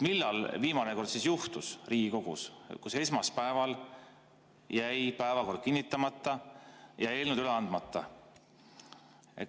Millal viimane kord juhtus Riigikogus, et esmaspäeval jäi päevakord kinnitamata ja eelnõud jäid üle andmata?